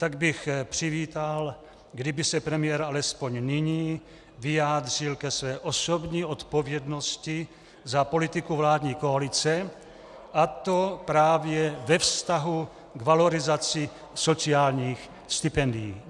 Tak bych přivítal, kdyby se premiér alespoň nyní vyjádřil ke své osobní odpovědnosti za politiku vládní koalice, a to právě ve vztahu k valorizaci sociálních stipendií.